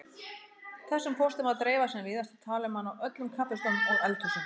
Þessum pósti má dreifa sem víðast og tala um hann á öllum kaffistofum og eldhúsum.